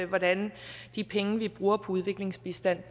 hvordan de penge vi bruger på udviklingsbistand